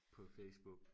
på facebook